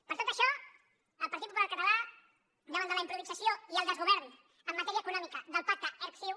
per tot això el partit popular català davant de la improvisació i el desgovern en matèria econòmica del pacte erc ciu